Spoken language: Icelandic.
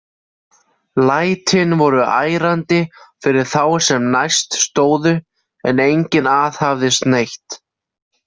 Lætin voru ærandi fyrir þá sem næst stóðu, en enginn aðhafðist neitt.